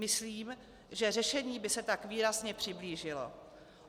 Myslím, že řešení by se tak výrazně přiblížilo.